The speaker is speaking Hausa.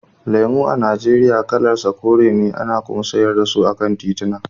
Lemo a Nijeriya kalar sa kore ce, ana kuma sayar da su a kan tituna.